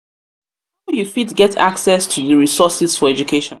you fit get access to di resources for education